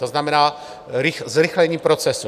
To znamená zrychlení procesu.